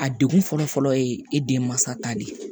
A degun fɔlɔ fɔlɔ ye e den mansa ta de ye